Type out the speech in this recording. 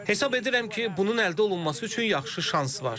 Hesab edirəm ki, bunun əldə olunması üçün yaxşı şans var.